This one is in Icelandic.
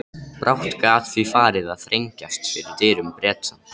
Brátt gat því farið að þrengjast fyrir dyrum Breta.